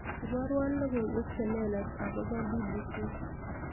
iborwon logoiwek chelelach agopo b.b.c